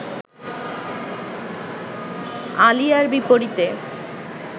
আলিয়ার বিপরীতে